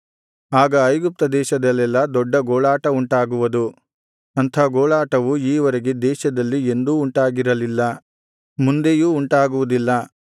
ಆಗ ಐಗುಪ್ತ ದೇಶದಲ್ಲೆಲ್ಲಾ ದೊಡ್ಡ ಗೋಳಾಟವುಂಟಾಗುವುದು ಅಂಥ ಗೋಳಾಟವು ಈವರೆಗೆ ದೇಶದಲ್ಲಿ ಎಂದೂ ಉಂಟಾಗಿರಲಿಲ್ಲ ಮುಂದೆಯೂ ಉಂಟಾಗುವುದಿಲ್ಲ